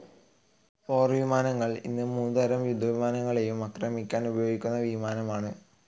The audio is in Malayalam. പോർവിമാനങ്ങൾ ഈ മൂന്ന് തരം യുദ്ധവിമാനങ്ങളെയും ആക്രമിക്കാൻ ഉപയോഗിക്കുന്ന വിമാനമാണ്.